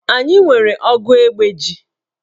Anyị nwere ogu ogbe ji.